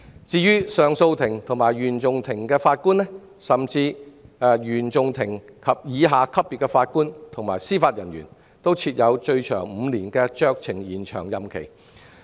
至於上訴法庭及原訟法庭的法官，以及原訟法庭以下級別的司法人員，均設最長5年的酌情延長任期。